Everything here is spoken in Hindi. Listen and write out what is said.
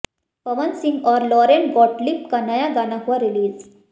पवन सिंह और लॉरेन गॉटलिब का नया गाना हुआ रिलीज